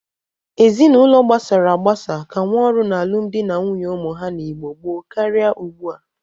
Ezinaụlọ gbasara agbasa ka nwe ọrụ na alụmdị na nwunye ụmụ ha n'Igbo gboo karị ugbu a.